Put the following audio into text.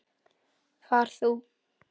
Far þú.